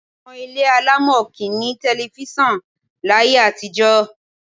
Àwọn ilé alámọ̀ kì í ní tẹlifíṣàn láyé àtijọ́.